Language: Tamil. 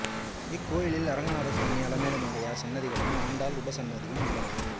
இக்கோயிலில் அரங்கநாதசுவாமி அலமேலு அம்மையார் சன்னதிகளும் ஆண்டாள் உபசன்னதியும் உள்ளன